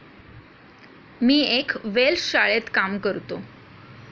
मी एक वेल्श शाळेत काम करतो.